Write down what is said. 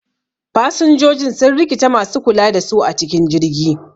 Fasinjoji sun rikita masu kula da su a cikin jirgi